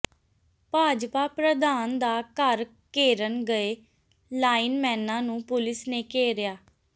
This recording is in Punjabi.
ਭਾਜਪਾ ਪ੍ਰਧਾਨ ਦਾ ਘਰ ਘੇਰਨ ਗਏ ਲਾਈਨਮੈਨਾਂ ਨੂੰ ਪੁਲੀਸ ਨੇ ਘੇਰਿਆ